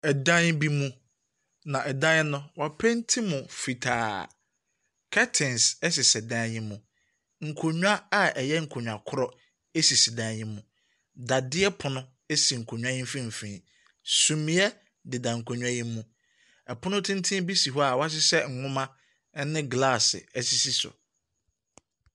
Ɛdan bi mu. Na ɛdan no mu no wa painti mu fitaa. Curtains ɛsesɛ dan yi mu. Nkonwa a ɛyɛ nkonwa korɔ esisi dan yi mu. Dadeɛ pono esi nkonwa yi mfimfin. Sumiɛ de da nkonwa yi mu. Pono tenten bi si hɔ a wahyehyɛ nwoma ɛne glass ɛsisi so.